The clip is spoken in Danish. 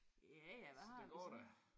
Ja ja hvad har vi så?